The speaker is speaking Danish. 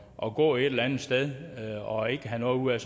og gå et eller andet sted og ikke have noget ud af